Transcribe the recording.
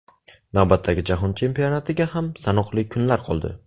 Navbatdagi Jahon Chempionatiga ham sanoqli kunlar qoldi.